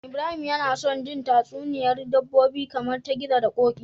Ibrahim yAna son jin tatsuniyar dabbobi kaman ta gizo da koki